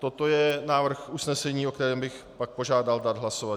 Toto je návrh usnesení, o kterém bych pak požádal dát hlasovat.